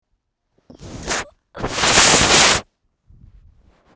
Hver er þessi staður?